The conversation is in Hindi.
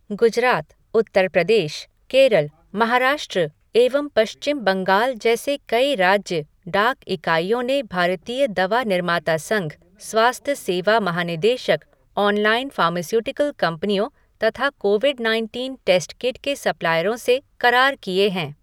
गुजरात, उत्तर प्रदेश, केरल, महाराष्ट्र एवं पश्चिम बंगाल जैसे कई राज्य डाक इकाइयों ने भारतीय दवा निर्माता संघ, स्वास्थ्य सेवा महानिदेशक, ऑनलाइन फ़ार्मास्यूटिकल कंपनियों तथा कोविड नाइनटीन टेस्ट किट के सप्लायरों से करार किए हैं।